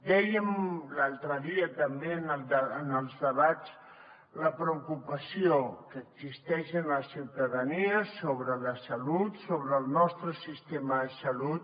dèiem l’altre dia també en els debats la preocupació que existeix en la ciutadania sobre la salut sobre el nostre sistema de salut